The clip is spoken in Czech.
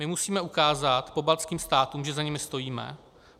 My musíme ukázat pobaltským státům, že za nimi stojíme.